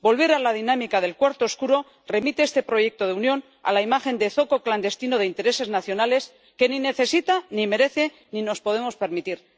Volver a la dinámica del cuarto oscuro remite este proyecto de Unión a la imagen de zoco clandestino de intereses nacionales que ni necesita ni merece ni nos podemos permitir.